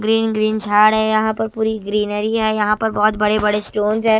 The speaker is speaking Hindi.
ग्रीन ग्रीन झाड़ हैं यहां पर पूरी ग्रीनरी है यहां पर बहुत बड़े बड़े स्टोंस है।